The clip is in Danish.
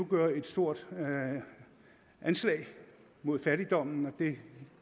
gøre et stort anslag mod fattigdommen og det